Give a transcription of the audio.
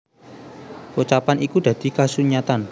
Pocapan iku dadi kasunyatan